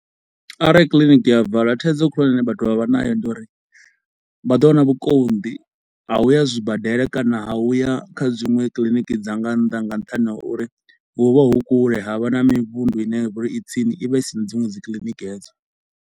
Arali kiḽiniki ya vala thaidzo khulwane ine vhathu vha vha vha nayo ndi youri, vha ḓo vha na vhukonḓi ha uya zwibadela kana ha uya kha dziṅwe kiḽiniki dza nga nnḓa nga nṱhani ha uri hu vha hu kule, havha na mivhundu ine ya vha uri i tsini i vha i si na dziṅwe dzi kiḽiniki hedzo.